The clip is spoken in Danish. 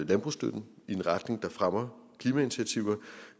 landbrugsstøtten i en retning der fremmer klimainitiativer